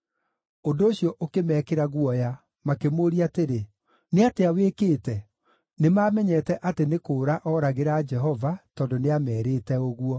Ũndũ ũcio ũkĩmeekĩra guoya, makĩmũũria atĩrĩ, “Nĩ atĩa wĩkĩte?” (Nĩmamenyete atĩ nĩ kũũra ooragĩra Jehova, tondũ nĩameerĩte ũguo.)